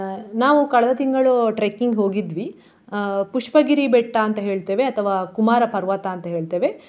ನಾವು ಕಳೆದ ತಿಂಗಳು trekking ಹೋಗಿದ್ವಿ. ಆ ಪುಷ್ಪಗಿರಿ ಬೆಟ್ಟ ಅಂತ ಹೇಳ್ತೇವೆ ಅಥವಾ ಕುಮಾರ ಪರ್ವತ ಅಂತ ಹೇಳ್ತೇವೆ.